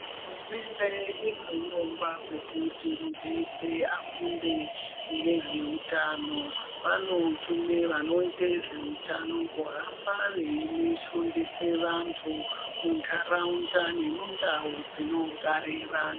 Hurumende ine hurongwa hwekuti muntu weshe afunde ngezveutano. Vanotume vanoite zveutano kuhamba veifundisa vantu muntaraunda nemundau dzinogare vantu.